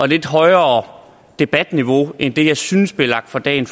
lidt højere debatniveau end det jeg synes bliver lagt for dagen